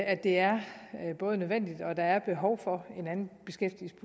at det er nødvendigt og at der er behov for